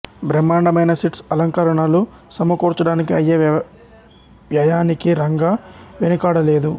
బ్రహ్మాండమైన సెట్స్ అలంకరణలు సమకూర్చడానికి అయ్యే వ్యయానికి రంగా వెనుకాడలేదు